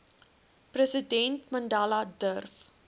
president mandela durf